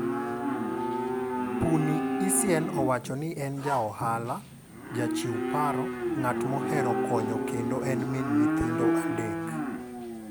Puni Essien owacho ni en ja ohala, ja chiw paro , ng'at mohero konyo kendo en min nyithindo adek.